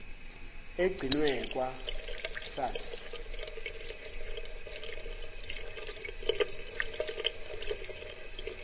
egcinwe kwa sars